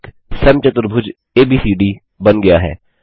एक समचतुर्भुज एबीसीडी बन गया है